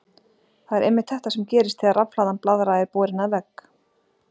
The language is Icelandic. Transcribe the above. Það er einmitt þetta sem gerist þegar rafhlaðin blaðra er borin að vegg.